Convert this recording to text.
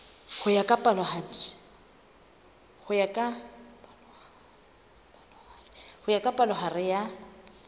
ho ya ka palohare ya